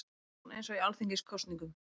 Kjörsókn eins og í alþingiskosningum